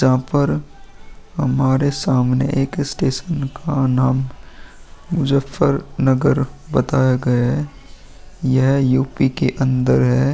यहाँ पर हमारे सामने एक स्टेशन का नाम मुज्जफरनगर बताया गया है। यह यु पी के अन्दर है।